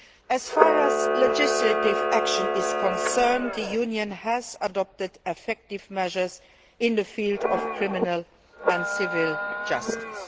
As far as legislative action is concerned, the Union has adopted effective measures in the field of criminal and civil justice.